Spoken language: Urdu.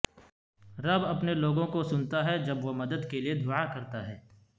رب اپنے لوگوں کو سنتا ہے جب وہ مدد کے لئے دعا کرتا ہے